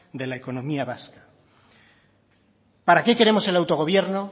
de la economía vasca para qué queremos el autogobierno